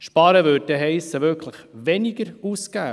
Sparen heisst, wirklich weniger auszugeben.